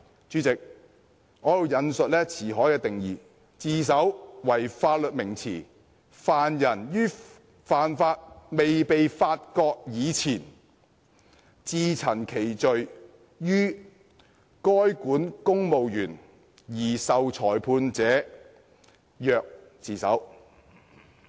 主席，《辭海》對自首的定義，"'自首'為法律名詞，犯人於犯罪未被發覺以前，自陳其罪於該管公務員而受裁判者，曰自首。